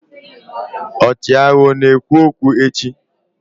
ọchịagha ọ na-ekwu okwu echi?